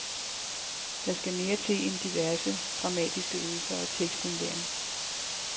Der skal mere til end diverse, dramatiske øvelser og tekstindlæring.